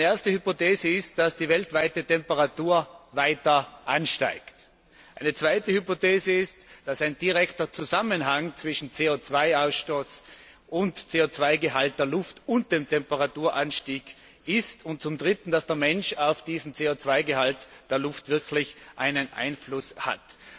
Eine erste Hypothese ist, dass die weltweite Temperatur weiter ansteigt. Eine zweite Hypothese ist, dass es einen direkten Zusammenhang zwischen CO 2 Ausstoß und CO 2 Gehalt der Luft und dem Temperaturanstieg gibt, und zum Dritten, dass der Mensch diesen CO 2 Gehalt der Luft wirklich beeinflussen kann.